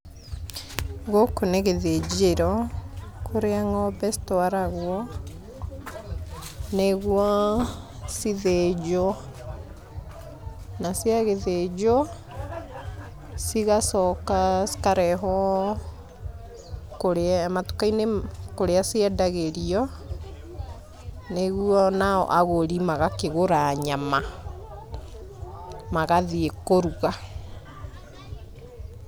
Gũkũ nĩ gĩthĩnjĩro, kũrĩa ng'ombe citwaragwo nĩguo cithĩnjwo. Na ciagĩthĩnjwo, cigacoka cikarehwo kũrĩa matuka-inĩ kũrĩa ciendagĩrio, nĩguo nao agũri magakĩgũra nyama, magathiĩ kũruga.